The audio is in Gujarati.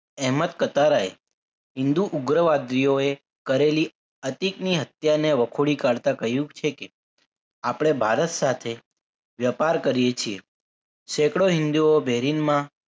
અહેમદ કતારાય હિન્દુ ઉગ્રવાદીઓએ કરેલી અતિક ની હત્યા ને વખોડી કાઢતા કહ્યું છે કે આપણે ભારત સાથે વેપાર કરીએ છીએ સેકડો હિંદુઓ બેરિંગમાં